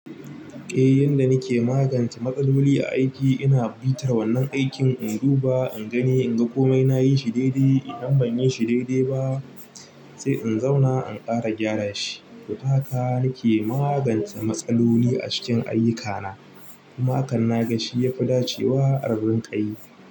Eh, yanda nake magance matsaloli a aiki ina bitar wannan aikin in duba, in gani inga komai nayi shi daidai. Idan ban yi shi daidai ba sai in zauna in ƙara gyara shi. To ta haka nake magance matsaloli a cikin ayyukana, kuma hakan na ga shi yafi dacewa a rinƙa yi.